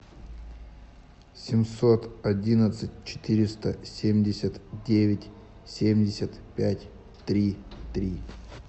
семьсот одиннадцать четыреста семьдесят девять семьдесят пять три три